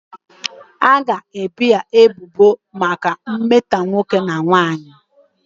A ga-ebo ya ebubo maka mmetọ nwoke na nwanyị.